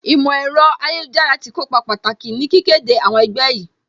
Ìmọ̀ ẹ̀rọ ayélujára tí kópa pàtàkì ní kíké de àwọn ẹgbẹ́ yìí